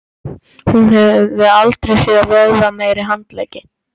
Hún hafði aldrei séð vöðvameiri handleggi.